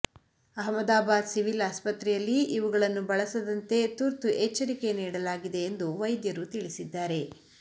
Ahmedabad civil ಆಸ್ಪತ್ರೆಯಲ್ಲಿ ಇವುಗಳನ್ನು ಬಳಸದಂತೆ ತುತು ಎಚ್ಚರಿಕೆ ನೀಡಲಾಗಿದೆ ವೈದ್ಯರು ತಿಳಿಸಿದ್ದಾರೆ